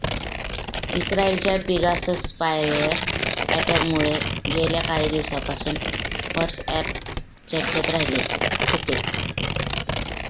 इस्त्रायलच्या Pegasus spyware अॅटॅकमुळे गेल्या काही दिवसांपासून व्हॉट्सअॅप चर्चेत राहिले होते